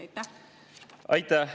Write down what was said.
Aitäh!